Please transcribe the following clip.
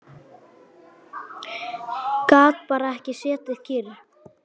Gat bara ekki setið kyrr.